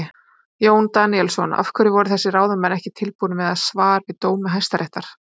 Jón Daníelsson: Af hverju voru þessir ráðamenn ekki tilbúnir með svar við dómi Hæstaréttar?